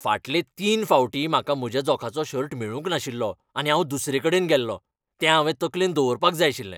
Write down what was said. फाटले तीन फावटीं म्हाका म्हज्या जोखाचो शर्ट मेळूंक नाशिल्लो आनी हांव दुसरेकडेन गेल्लों, तें हांवें तकलेंत दवरपाक जाय आशिल्लें .